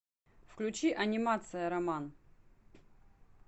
включи анимация роман